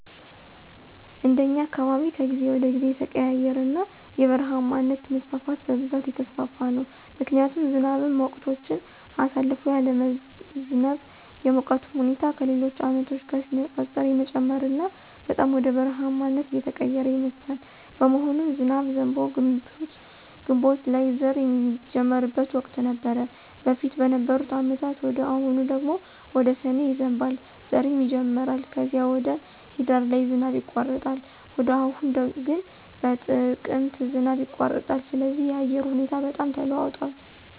እንደኛ አካባቢ ከጊዜ ወደ ጊዜ እየተቀያየረና የበረሃማነት መስፋፋት በብዛት እየተስፋፋ ነው ምክንያቱም ዝናብም ወቅቶችን አሳልፎ ያለመዝነብ፣ የሙቀቱም ሁኔታ ከሌሎች አመቶች ጋር ሲነፃፀር የመጨመርና በጣም ወደ በረሐማነት እየተቀየረ ይመስላል። በመሆኑም ዝናብ ዘንቦ ግንቦት ላይ ዘር ሚጀመርበት ወቅት ነበር በፊት በነበሩ አመታት ወደ አሁኑ ደግሞ ወደ ሰኔ ይዘንባል ዘርም ይጀመራል ከዚም ወደ ሂዳር ላይ ዝናብ ይቋረጣል ወደ አሁኑ ግን በጥቅምት ዝናብ ይቋረጣል ስለዚህ የአየሩ ሁኔታ በጣም ተለዋውጧል